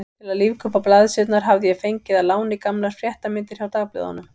Til að lífga uppá blaðsíðurnar hafði ég fengið að láni gamlar fréttamyndir hjá dagblöðunum.